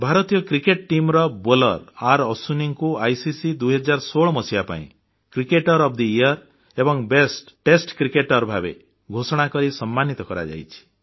ଭାରତୀୟ କ୍ରିକେଟ୍ ଟିମର ବୋଲର ଆରଅଶ୍ବିନଙ୍କୁ ଆଇସିସି 2016 ମସିହା ପାଇଁ କ୍ରିକେଟର ଓଏଫ୍ ଥେ ୟିୟର ଏବଂ ବେଷ୍ଟ ଟେଷ୍ଟ କ୍ରିକେଟର ଭାବେ ଘୋଷଣାକରି ସମ୍ମାନିତ କରାଯାଇଛି